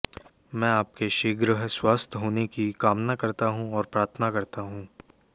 मैं आपके शीघ्र स्वस्थ होने की कामना करता हूं और प्रार्थना करता हूं